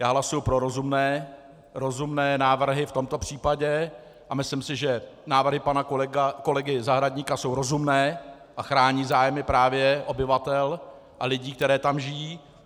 Já hlasuji pro rozumné návrhy v tomto případě a myslím, si, že návrhy pana kolegy Zahradníka jsou rozumné a chrání zájmy právě obyvatel a lidí, kteří tam žijí.